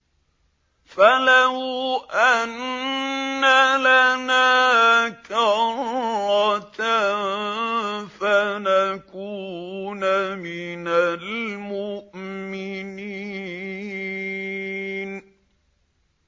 فَلَوْ أَنَّ لَنَا كَرَّةً فَنَكُونَ مِنَ الْمُؤْمِنِينَ